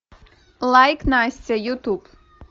лайк настя ютуб